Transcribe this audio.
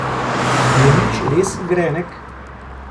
Je nič res grenek?